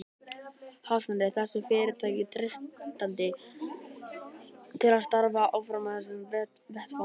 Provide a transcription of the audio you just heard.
Hafsteinn: Er þessu fyrirtæki treystandi til að starfa áfram á þessum vettvangi?